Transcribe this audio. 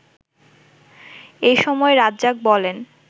এ সময় রাজ্জাক বলেন